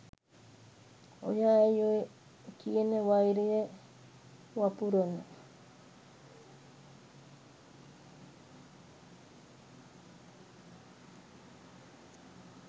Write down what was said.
ඔයා ඇයි ඔය කියන වෛරය වපුරන